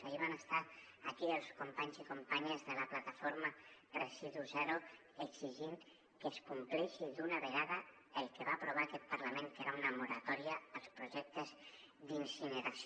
ahir van estar aquí els companys i companyes de la plataforma residu zero per exigir que es compleixi d’una vegada el que va aprovar aquest parlament que era una moratòria als projectes d’incineració